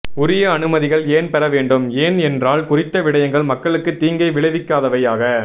உரிய அனுமதிகள் ஏன் பெறப்பட வேண்டும் ஏன்என்றால் குறித்த விடயங்கள் மக்களுக்கு தீங்கை விளைவிக்காதவையாக